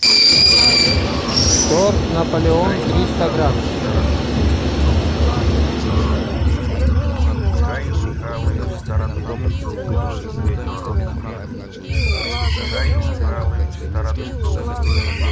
торт наполеон триста грамм